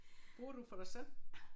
Bor du for dig selv?